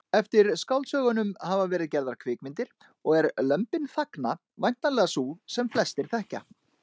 Eftir skáldsögunum hafa verið gerðar kvikmyndir og er Lömbin þagna væntanlega sú sem flestir þekkja.